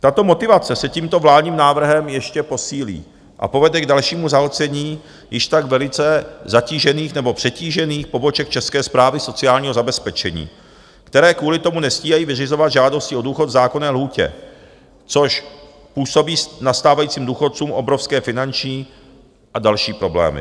Tato motivace se tímto vládním návrhem ještě posílí a povede k dalšímu zahlcení již tak velice zatížených nebo přetížených poboček České správy sociálního zabezpečení, které kvůli tomu nestíhají vyřizovat žádosti o důchod v zákonné lhůtě, což působí nastávajícím důchodcům obrovské finanční a další problémy.